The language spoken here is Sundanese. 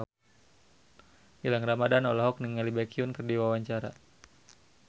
Gilang Ramadan olohok ningali Baekhyun keur diwawancara